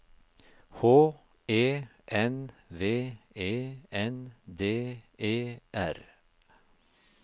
H E N V E N D E R